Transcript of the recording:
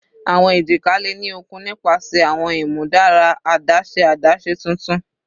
Awọn ejika le ni okun nipasẹ awọn imudara adaṣe adaṣe tuntun